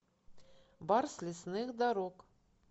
барс лесных дорог